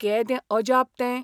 केदें अजाप तें!